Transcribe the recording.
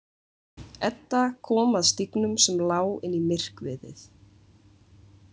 Edda kom að stígnum sem lá inn í myrkviðið.